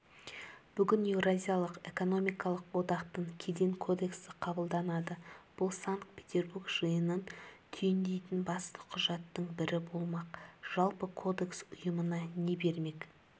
бүгін еуразиялық экономикалық одақтың кеден кодексі қабылданады бұл санкт-петербург жиынын түйіндейтін басты құжаттың бірі болмақ жалпы кодекс ұйымға не бермек